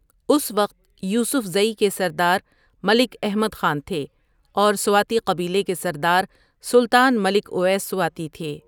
اس وقت یوسفذٸ کے سردار ملک احمد خان تھے اور سواتی قبیلے کے سردار سلطان ملک اویس سواتی تھے۔